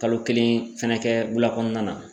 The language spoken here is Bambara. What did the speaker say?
Kalo kelen fɛnɛ kɛ wula kɔnɔna na